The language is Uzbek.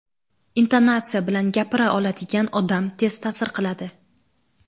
intonatsiya bilan gapira oladigan odam tez ta’sir qiladi.